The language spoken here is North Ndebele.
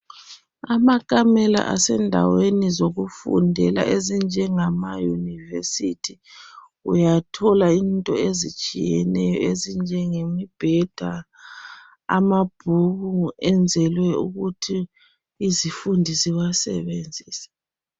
Amakamela asendaweni zokufundela ezinjengama yunivesithi uyathola into ezitshiyeneyo ezinjengemibheda amabhuku enzelwe ukuthi izifundi ziwasebenzise.